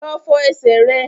Lọ fọ ẹsẹ̀ rẹ!